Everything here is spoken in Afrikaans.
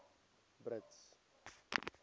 brits